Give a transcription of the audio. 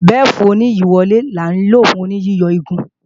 Bẹ́fù-oníyíyọ̀wálẹ̀ ní à ń lò fún yíyọ igun